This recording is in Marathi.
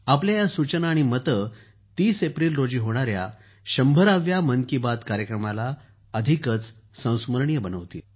आपल्या या सूचना आणि मते 30 एप्रिल रोजी होणाऱ्या 100 व्या मन की बात कार्यक्रमाला अधिकच संस्मरणीय बनवतील